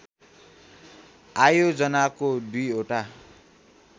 आयोजनाको दुई ओटा